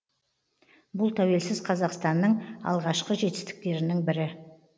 бұл тәуелсіз қазақстанның алғашқы жетістіктерінің бірі